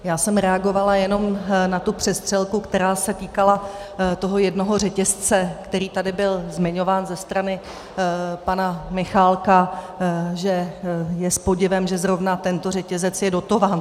Já jsem reagovala jenom na tu přestřelku, která se týkala toho jednoho řetězce, který tady byl zmiňován ze strany pana Michálka, že je s podivem, že zrovna tento řetězec je dotován.